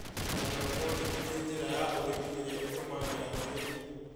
Haindorobonĩki nĩ njĩra ya ũrĩmi iria ĩtatũmagĩra tĩĩri